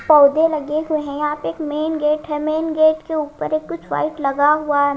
पौधे लगे हुए हैं यहां पे एक मेन गेट है मेन गेट के ऊपर एक कुछ वाइट लगा हुआ है।